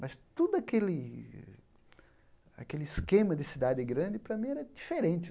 Mas todo aquele aquele esquema de cidade grande, para mim, era diferente.